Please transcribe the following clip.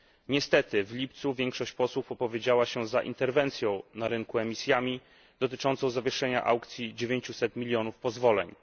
Niestety, w lipcu większość posłów opowiedziała się za interwencją na rynku emisjami dotyczącą zawieszenia aukcji dziewięciuset milionów pozwoleń.